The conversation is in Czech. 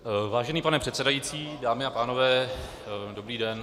Vážený pane předsedající, dámy a pánové, dobrý den.